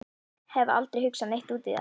Hef aldrei hugsað neitt út í það.